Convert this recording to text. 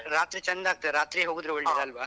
ರಾತ್ರಿ ಚಂದ ಆಗ್ತದೆ. ರಾತ್ರಿಯೇ ಹೋದ್ರೆ ಒಳ್ಳೇದು ಅಲ್ವಾ?